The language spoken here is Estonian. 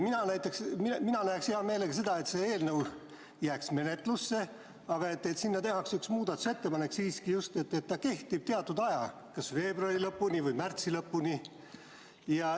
Mina näeksin hea meelega seda, et see eelnõu jääks menetlusse, aga sinna tehakse üks muudatusettepanek selle kohta, et ta kehtib teatud aja, kas veebruari lõpuni või märtsi lõpuni.